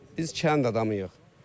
Biz kənd adamıyıq.